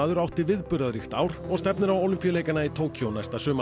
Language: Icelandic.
átti viðburðaríkt ár og stefnir á Ólympíuleikana í Tókýó næsta sumar